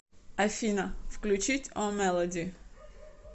афина включить о мелоди